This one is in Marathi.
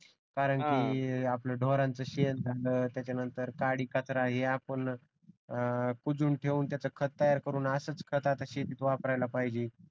कारण की आपल्या ढोरांचा शेण त्याच्यानंतर काडीकचरा हे आपण कुजून ठेवून त्याचं खत तयार करणे असंच खत आता शेतीत वापरायला पाहिजे